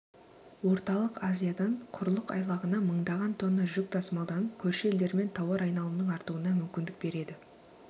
орталық азиядан құрық айлағына мыңдаған тонна жүк тасымалданып көрші елдермен тауар айналымның артуына мүмкіндік береді